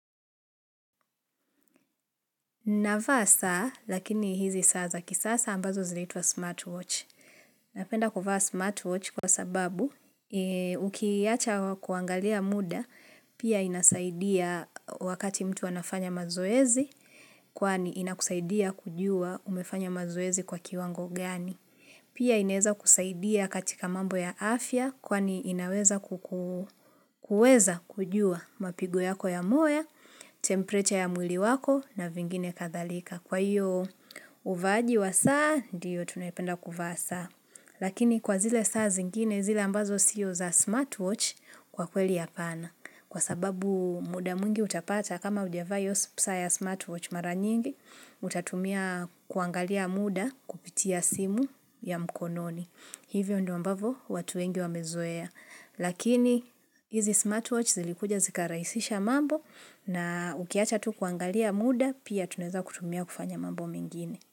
Navaa saa lakini hizi saa za kisasa ambazo zinaitwa smartwatch. Napenda kuvaa smartwatch kwa sababu ukiaacha kuangalia muda pia inasaidia wakati mtu anafanya mazoezi kwani inakusaidia kujua umefanya mazoezi kwa kiwango gani. Pia inaweza kusaidia katika mambo ya afya kwani inaweza kujua mapigo yako ya moyo, temperature ya mwili wako na vingine kadhalika. Kwa hiyo uvaaji wa saa, ndiyo tunapenda kuvaa saa Lakini kwa zile saa zingine, zile ambazo siyo za smartwatch kwa kweli ya hapana. Kwa sababu muda mwingi utapata kama hujavaa hiyo saa ya smartwatch maranyingi, utatumia kuangalia muda kupitia simu ya mkononi. Hivyo ndombavo watu wengi wamezoea. Lakini hizi smartwatch zilikuja zikarahisisha mambo na ukiacha tu kuangalia muda, pia tuneza kutumia kufanya mambo mingine.